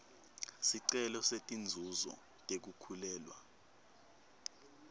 sicelo setinzuzo tekukhulelwa